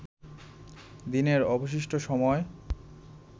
দিনের অবশিষ্ট সময়